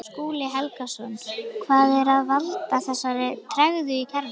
Skúli Helgason: Hvað er að valda þessari tregðu í kerfinu?